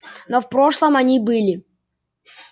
но в прошлом они были